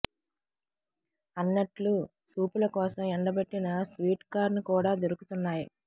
అన్నట్లూ సూపుల కోసం ఎండబెట్టిన స్వీట్ కార్న్ కూడా దొరుకుతున్నాయి